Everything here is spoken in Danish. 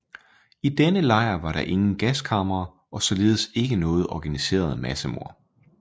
I denne lejr var der ingen gaskamre og således ikke noget organiseret massemord